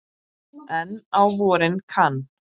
En á vorin kann